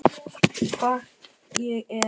Hvort ég er.